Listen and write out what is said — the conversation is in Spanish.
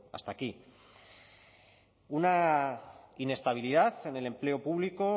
hasta aquí una inestabilidad en el empleo público